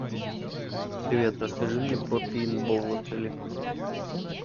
привет расскажи мне про пейнтбол в отеле